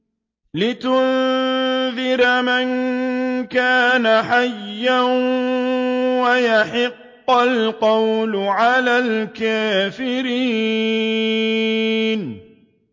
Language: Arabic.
لِّيُنذِرَ مَن كَانَ حَيًّا وَيَحِقَّ الْقَوْلُ عَلَى الْكَافِرِينَ